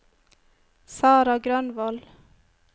Sarah Grønvold